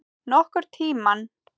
Nokkurn tímann.